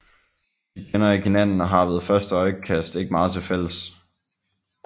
De kender ikke hinanden og har ved første øjekast ikke meget til fælles